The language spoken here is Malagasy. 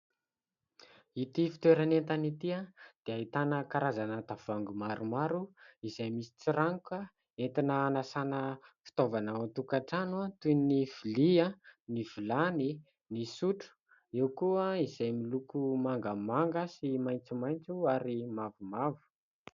Ity fitoerana entana ity dia ahitana karazana tavoangy maro maro izay misy tsiranoka entina anasana fitaovana ao an-tokatrano toy ny lovia ny vilany ny sotro eo koa izay miloko mangamanga sy maitsomaitso ary mavomavo.